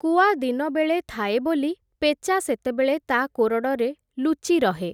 କୁଆ ଦିନବେଳେ ଥାଏ ବୋଲି, ପେଚା ସେତେବେଳେ ତା କୋରଡ଼ରେ ଲୁଚି ରହେ ।